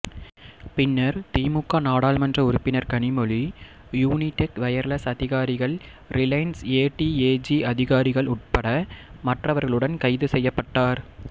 பின்னர் திமுக நாடாளுமன்ற உறுப்பினர் கனிமொழி யூனிடெக் வயர்லெஸ் அதிகாரிகள் ரிலையன்ஸ் ஏடிஏஜி அதிகாரிகள் உட்பட மற்றவர்களுடன் கைது செய்யப்பட்டார்